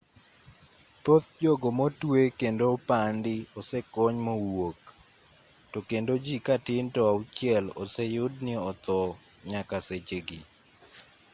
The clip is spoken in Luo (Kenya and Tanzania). thoth jogo motwe kendo opandi osekony mowuok to kendo jii katin to auchiel oseyud ni othoo nyakasechegi